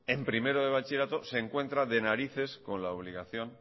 en primero de bachillerato se encuentra de narices con la obligación